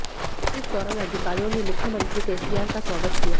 इस दौरान अधिकारियों ने मुख्यमंत्री केसीआर का स्वागत किया